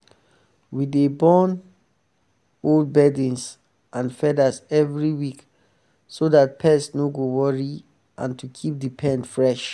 we dey burn old bedding and feathers every week so that pest no go worry and to keep the pen fresh.